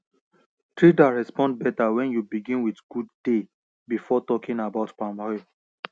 traders respond better when you begin with good day before talking about palm oil